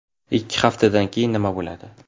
Ikki haftadan keyin nima bo‘ladi?